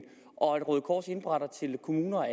og at røde kors indberetter til kommuner